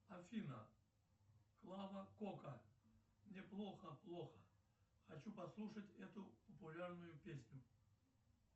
афина клава кока мне плохо плохо хочу послушать эту популярную песню